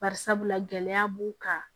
Bari sabula gɛlɛya b'u kan